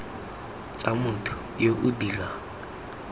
tsa motho yo o dirang